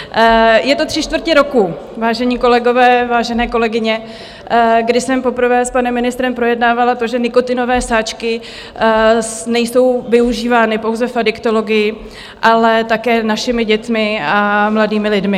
Je to tři čtvrtě roku, vážení kolegové, vážené kolegyně, kdy jsem poprvé s panem ministrem projednávala to, že nikotinové sáčky nejsou využívány pouze v adiktologii, ale také našimi dětmi a mladými lidmi.